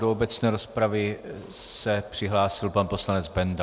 Do obecné rozpravy se přihlásil pan poslanec Benda.